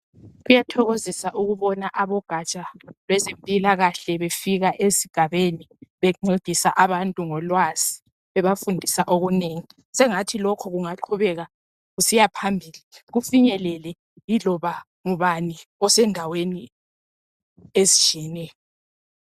Kuyathokozisa ukubona abogaja lwezempilakahle befika esigabeni bencedisa abantu ngolwazi sengathi lokhu kungaqubeka kusiya phambili kufinyelele yiloba ngubani osendaweni ezitshiyeneyo .